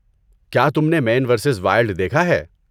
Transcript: کیا تم نے مین ورسیز وائلڈ دیکھا ہے؟